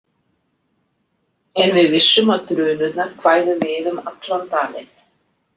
En við vissum að dunurnar kvæðu við um allan dalinn.